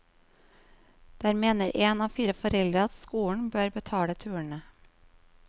Der mener én av fire foreldre at skolen bør betale turene.